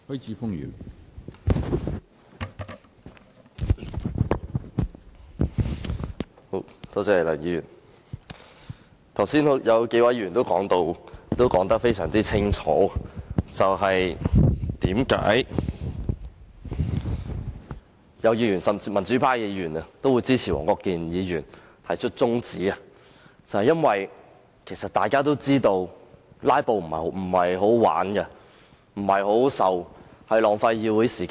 剛才已有數位議員表明，並清楚解釋為何支持黃國健議員提出的中止待續議案，甚至有民主派議員也表示支持，原因是大家都知道"拉布"並非好玩和好受的事情，而且浪費議會時間。